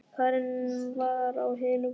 Karen var á hinu baðinu.